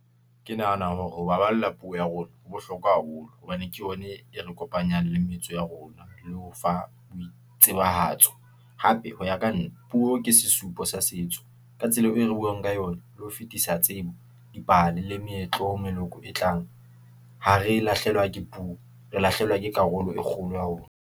Ke nahana hore ho baballa puo ya rona ho bohlokwa haholo, hobane ke bone e re kopanyang le metso ya rona, le ho fa boitsebahatso, hape ho ya ka nna, puo ke se supo sa setso, ka tsela e re buang ka yona, le ho fetisa tsebo, dipale le meetlo ho meloko e tlang, ha re lahlehelwa ke puo, re lahlehelwa ke karolo e kgolo ya rona.